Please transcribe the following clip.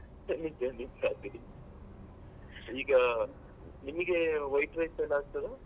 ನಿಜ ನಿಜ ಅದೇ. ಈಗ ನಿಮಿಗೆ white rice ಎಲ್ಲ ಆಗ್ತದ.